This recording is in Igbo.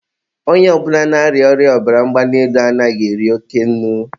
onye ọ bụla na-arịa ọrịa ọbara mgbali elu anaghị eri oke nnu.